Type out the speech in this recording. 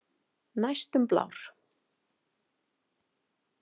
Næstum blár.